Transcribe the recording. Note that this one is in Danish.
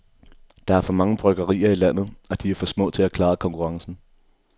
Der er for mange bryggerier i landet, og de er for små til at klare konkurrencen.